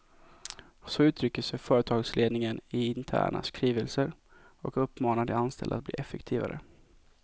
Så uttrycker sig företagsledningen i interna skrivelser och uppmanar de anställda att bli effektivare.